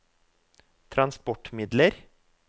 transportmidler